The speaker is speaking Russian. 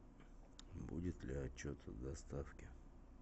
будет ли отчет о доставке